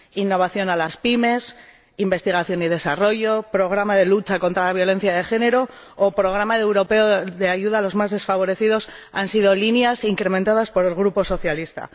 Innovación en las PYME, investigación y desarrollo, programa de lucha contra la violencia de género o programa europeo de ayuda a los más desfavorecidos han sido líneas incrementadas por el Grupo socialista.